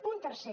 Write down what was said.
punt tercer